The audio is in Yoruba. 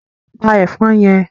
Pa ẹ̀fọn yẹn!